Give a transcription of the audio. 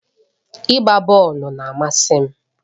Ịgba bọọlụ na-amasị m.